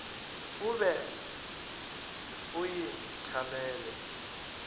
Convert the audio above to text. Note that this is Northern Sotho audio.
o be o e thalele